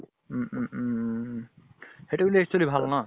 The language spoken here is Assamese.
উম উম উমম। সেইটো কিন্তু actually ভাল ন?